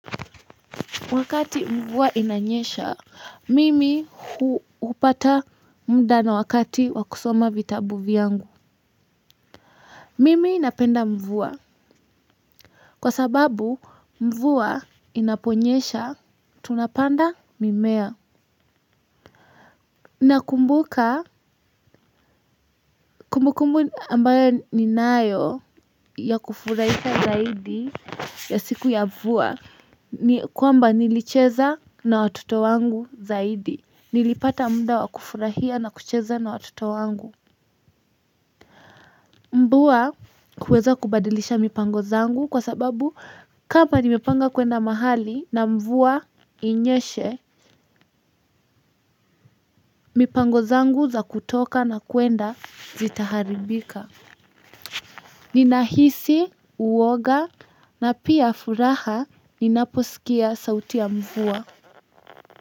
Wakati mvua inanyesha, mimi hupata muda na wakati wakusoma vitabu vyangu. Mimi inapenda mvuwa. Kwa sababu, mvua inaponyesha tunapanda mimea. Na kumbuka, kumbukumbu ambayo ninayo ya kufurahisha zaidi ya siku ya mvua, ni kwamba nilicheza na watoto wangu zaidi. Nilipata muda wakufurahia na kucheza na watoto wangu, mvua kuweza kubadilisha mipango zangu kwa sababu kama nimepanga kuenda mahali na mvua inyeshe mipango zangu za kutoka na kuenda zitaharibika ninahisi uoga napia furaha ninaposikia sauti ya mvua.